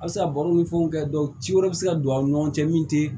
A bɛ se ka baro ni fɛnw kɛ ci wɛrɛ bɛ se ka don aw ni ɲɔgɔn cɛ min tɛ